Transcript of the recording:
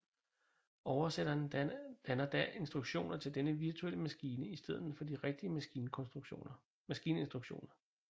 Oversætteren danner da instruktioner til denne virtuelle maskine i stedet for de rigtige maskininstruktioner